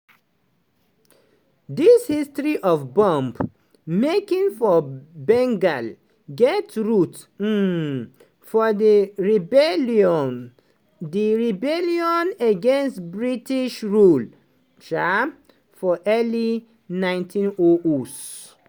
di history of bomb-making for bengal get root um for di rebellion di rebellion against british rule um for early 1900s.